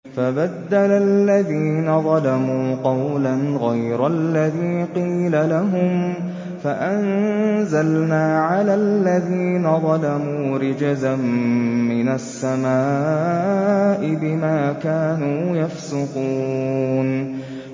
فَبَدَّلَ الَّذِينَ ظَلَمُوا قَوْلًا غَيْرَ الَّذِي قِيلَ لَهُمْ فَأَنزَلْنَا عَلَى الَّذِينَ ظَلَمُوا رِجْزًا مِّنَ السَّمَاءِ بِمَا كَانُوا يَفْسُقُونَ